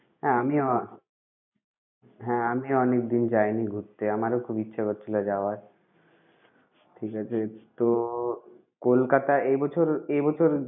হ্যাঁ আমিও হ্যাঁ আমিও অনেকদিন যাইনি ঘুরতে, আমারও খুব ইচ্ছে করছিল যাওয়ার। ঠিক আছে? তো কলকাতা এ বছর এ বছর